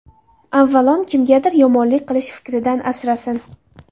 Avvalom kimgadir yomonlik qilish fikridan asrasin.